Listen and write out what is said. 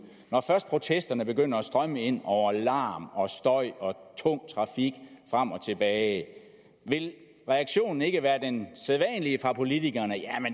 når først protesterne begynder at strømme ind over larm støj og tung trafik frem og tilbage vil reaktionen så ikke være den sædvanlige fra politikerne at